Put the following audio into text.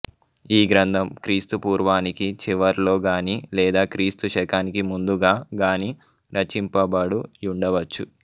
ఈ గ్రంథం క్రీస్తు పూర్వానికి చివర్లో గానీ లేదా క్రీస్తు శకానికి ముందుగా గానీ రచింపబడు యుండవచ్చు